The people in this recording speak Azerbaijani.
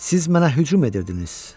Siz mənə hücum edirdiniz.